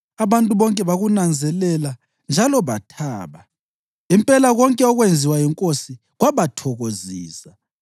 Abantu bonke bakunanzelela njalo bathaba; impela konke okwenziwa yinkosi kwabathokozisa.